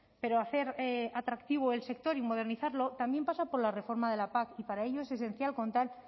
pero hacer atractivo el sector y modernizarlo también pasa por la reforma de la pac y para ello es esencial contar